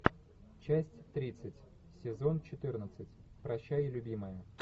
часть тридцать сезон четырнадцать прощай любимая